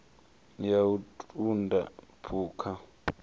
ya u ṱun ḓa phukha